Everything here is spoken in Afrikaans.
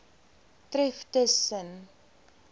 tref tus sen